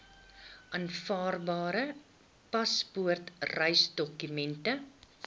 aanvaarbare paspoort reisdokument